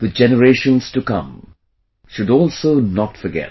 The generations to come should also not forget